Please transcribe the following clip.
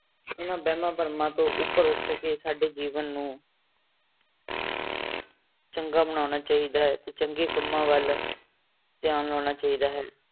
ਇਹਨਾਂ ਵਹਿਮਾਂ ਭਰਮਾਂ ਤੋਂ ਉੱਪਰ ਉੱਠ ਕੇ ਸਾਡੇ ਜੀਵਨ ਨੂੰ ਚੰਗਾ ਬਣਾਉਣਾ ਚਾਹੀਦਾ ਹੈ ਤੇ ਚੰਗੇ ਕੰਮਾਂ ਵੱਲ ਧਿਆਨ ਲਾਉਣਾ ਚਾਹੀਦਾ ਹੈ।